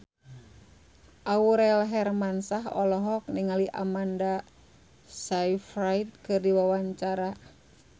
Aurel Hermansyah olohok ningali Amanda Sayfried keur diwawancara